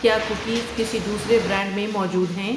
کیا کوکیز کسی دوسرے برانڈ میں موجود ہیں؟